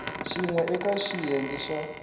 xin we eka xiyenge xa